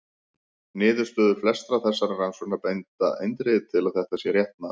Niðurstöður flestra þessara rannsókna benda eindregið til að þetta sé rétt mat.